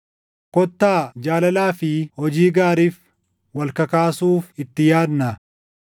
Kottaa jaalalaa fi hojii gaariif wal kakaasuuf itti yaadnaa.